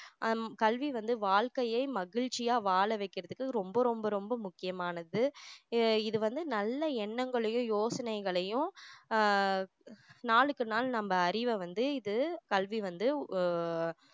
ஹம் கல்வி வந்து வாழ்க்கையை மகிழ்ச்சியா வாழ வைக்குறதுக்கு ரொம்ப ரொம்ப ரொம்ப முக்கியமானது அஹ் இது வந்து நல்ல எண்ணங்களையும் யோசனைகளையும் ஆஹ் நாளுக்கு நாள் நம்ம அறிவை வந்து இது கல்வி வந்து ஆஹ்